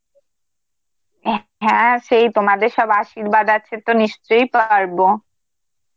অ্যাঁ হ্যাঁ সেই তোমাদের সব আশীর্বাদ আছে তো নিশ্চয়ই পারবো.